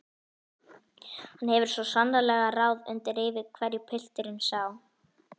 Hann hefur svo sannarlega ráð undir rifi hverju pilturinn sá!